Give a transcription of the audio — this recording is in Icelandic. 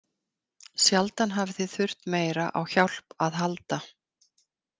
Sjaldan hafið þið þurft meira á hjálp að halda.